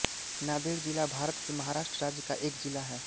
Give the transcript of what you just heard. नांदेड़ ज़िला भारत के महाराष्ट्र राज्य का एक ज़िला है